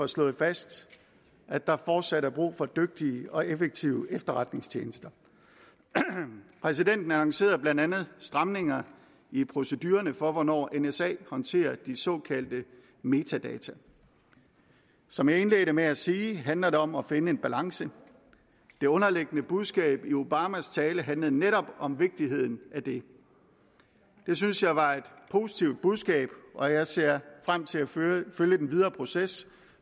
slået fast at der fortsat er brug for dygtige og effektive efterretningstjenester præsidenten annoncerede blandt andet stramninger i procedurerne for hvornår nsa håndterer de såkaldte metadata som jeg indledte med at sige handler det om at finde en balance det underliggende budskab i obamas tale handlede netop om vigtigheden af det det synes jeg var et positivt budskab og jeg ser frem til at følge den videre proces